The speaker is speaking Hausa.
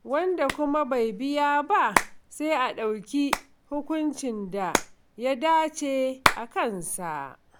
Wanda kuma bai biya ba, sai a ɗauki hukuncin da ya dace a kansa.